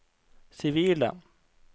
sivile